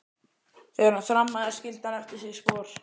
Þegar hann þrammaði skildi hann eftir sig spor.